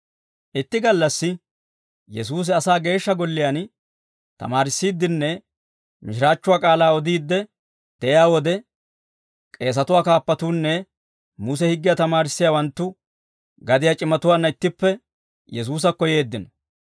Itti gallassi Yesuusi asaa geeshsha golliyaan tamaarissiiddenne mishiraachchuwaa k'aalaa odiidde de'iyaa wode, k'eesatuwaa kaappatuunne Muse higgiyaa tamaarissiyaawanttu gadiyaa c'imatuwaanna ittippe Yesuusakko yeeddino.